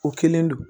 O kelen don